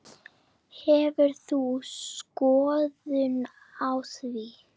Hefur þú skoðun á því?